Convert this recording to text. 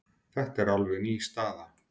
Þetta er alveg ný staða.